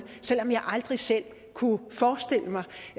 selv om jeg aldrig selv kunne forestille mig